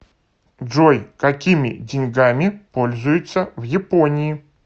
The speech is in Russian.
джой какими деньгами пользуются в японии